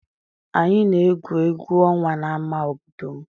Anyị na-egwu egwu ọnwa n'ámá obodo m.